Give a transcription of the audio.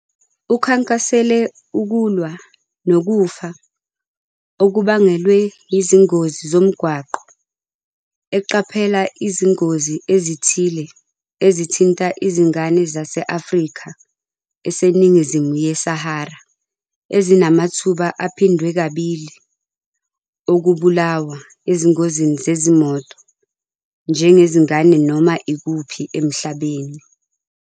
Ukhankasele ukulwa nokufa okubangelwe yizingozi zomgwaqo eqaphela izingozi ezithile ezithinta izingane zase-Afrika eseNingizimu yeSahara ezinamathuba aphindwe kabili okubulawa ezingozini zezimoto njengezingane noma ikuphi emhlabeni.